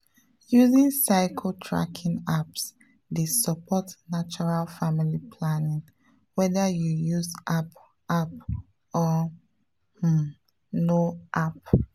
using cycle tracking apps dey support natural family planning whether you use app app or um no app.